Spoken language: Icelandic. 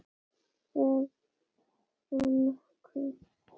Sérð þú nokkuð?